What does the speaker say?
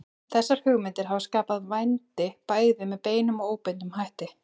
Þessar hugmyndir hafa skapað vændi bæði með beinum og óbeinum hætti.